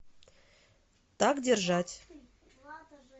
так держать